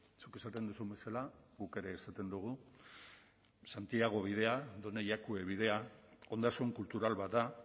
zuk esaten duzun bezala guk ere esaten dugu santiago bidea done jakue bidea ondasun kultural bat da